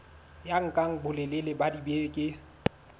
ya nka bolelele ba dibeke